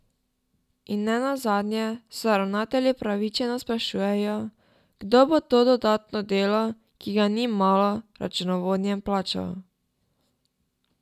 In ne nazadnje se ravnatelji upravičeno sprašujejo, kdo bo to dodatno delo, ki ga ni malo, računovodjem plačal?